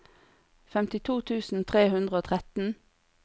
femtito tusen tre hundre og tretten